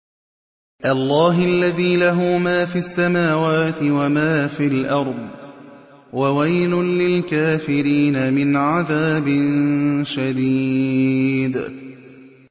اللَّهِ الَّذِي لَهُ مَا فِي السَّمَاوَاتِ وَمَا فِي الْأَرْضِ ۗ وَوَيْلٌ لِّلْكَافِرِينَ مِنْ عَذَابٍ شَدِيدٍ